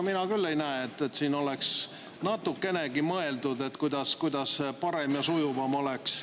Mina küll ei näe, et siin oleks natukenegi mõeldud, kuidas parem ja sujuvam oleks.